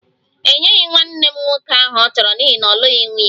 E nyeghị nwanne m nwoke aha ọ chọrọ n'ihi na ọ lụghị nwunye